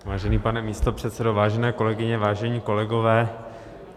Vážený pane místopředsedo, vážené kolegyně, vážení kolegové.